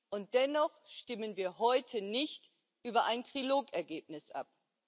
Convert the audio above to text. Und dennoch stimmen wir heute nicht über ein Trilog Ergebnis ab.